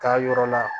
Taa yɔrɔ la